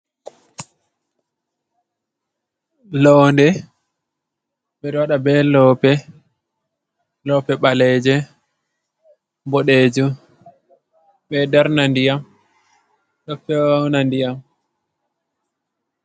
Londe, ɓe ɗo waɗa be lope. Lope ɓaleje, boɗejum be ɗo darna ndiyam ɗo feuna ndiyam.